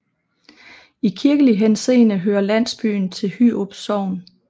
I kirkelig henseende hører landsbyen til Hyrup Sogn